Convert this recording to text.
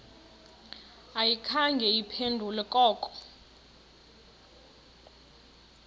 ayikhange iphendule koko